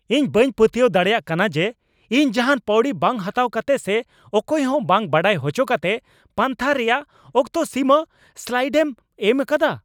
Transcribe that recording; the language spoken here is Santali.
ᱤᱧ ᱵᱟᱹᱧ ᱯᱟᱹᱛᱭᱟᱹᱣ ᱫᱟᱲᱮᱭᱟᱜ ᱠᱟᱱᱟ ᱡᱮ ᱤᱧ ᱡᱟᱦᱟᱱ ᱯᱟᱹᱣᱲᱤ ᱵᱟᱝ ᱦᱟᱛᱟᱣ ᱠᱟᱛᱮ ᱥᱮ ᱚᱠᱚᱭ ᱦᱚᱸ ᱵᱟᱝ ᱵᱟᱲᱟᱭ ᱦᱚᱪᱚ ᱠᱟᱛᱮ ᱯᱟᱱᱛᱷᱟ ᱨᱮᱭᱟᱜ ᱚᱠᱛᱚ ᱥᱤᱢᱟᱹ ᱥᱞᱟᱭᱤᱰᱮᱢ ᱮᱢ ᱟᱠᱟᱫᱟ ᱾